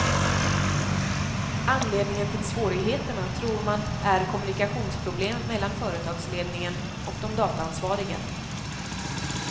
Anledningen till svårigheterna tror man är kommunikationsproblem mellan företagsledningen och de dataansvariga.